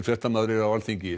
fréttamaður er á Alþingi